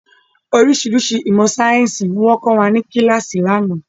Oríṣiríṣi ìmọ̀ sayẹ́nsi ni wọn kọ́ wa ni kíláàsì ni àná.